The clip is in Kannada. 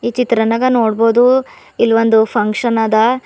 ಈ ಚಿತ್ರನಾಗ ನೋಡ್ಬೋದು ಇಲ್ಲಿ ಒಂದು ಫಂಕ್ಷನ್ ಆದ.